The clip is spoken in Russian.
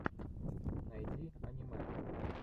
найди аниме